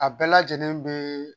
A bɛɛ lajɛlen bɛ.